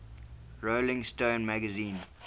rolling stone magazine